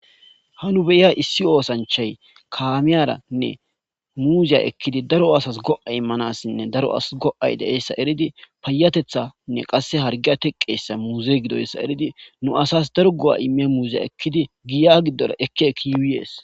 ha nu beiya issi oosanchay kaamiyaranne muuziya ekkidi daro asas go7a immanassinne daro ass go7ay de7eessa eridi payatethanne qasse hargiya teqqeessa muuze gidoyssa eridi nu asas daru go7a ime muuziya ekkidi giya giddora ekki eki yuiies